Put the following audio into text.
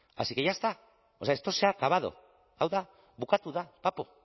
así que ya está o sea esto se ha acabado hau da bukatu da bapo